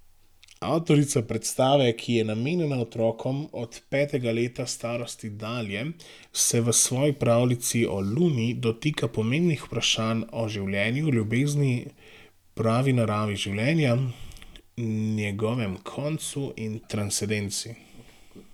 Avtorica predstave, ki je namenjena otrokom od petega leta starosti dalje, se v svoji pravljici o Luni dotika pomembnih vprašanj o življenju, ljubezni, pravi naravi življenja, njegovem koncu in transcendenci.